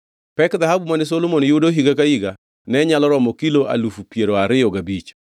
Pek dhahabu mane Solomon yudo higa ka higa ne nyalo romo kilo alufu piero ariyo gabich,